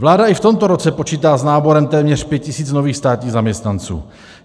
Vláda i v tomto roce počítá s náborem téměř 5 tisíc nových státních zaměstnanců.